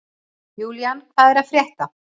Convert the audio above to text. Julian, hvað er að frétta?